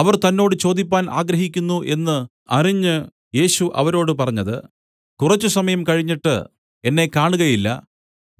അവർ തന്നോട് ചോദിപ്പാൻ ആഗ്രഹിക്കുന്നു എന്നു അറിഞ്ഞ് യേശു അവരോട് പറഞ്ഞത് കുറച്ചുസമയം കഴിഞ്ഞിട്ട് എന്നെ കാണുകയില്ല